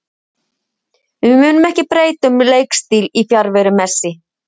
Við munum ekki breyta um leikstíl í fjarveru Messi.